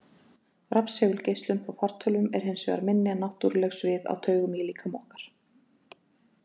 Rafsegulgeislun frá fartölvum er hins vegar minni en náttúruleg svið á taugum í líkama okkar.